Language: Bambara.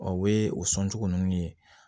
o bɛ o sɔn cogo ninnu ye